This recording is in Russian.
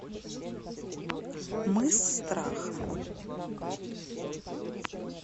мыс страха